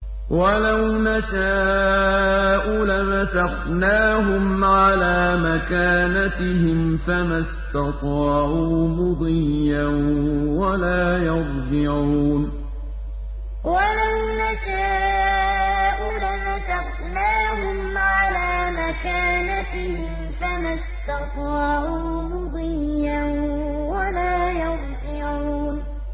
وَلَوْ نَشَاءُ لَمَسَخْنَاهُمْ عَلَىٰ مَكَانَتِهِمْ فَمَا اسْتَطَاعُوا مُضِيًّا وَلَا يَرْجِعُونَ وَلَوْ نَشَاءُ لَمَسَخْنَاهُمْ عَلَىٰ مَكَانَتِهِمْ فَمَا اسْتَطَاعُوا مُضِيًّا وَلَا يَرْجِعُونَ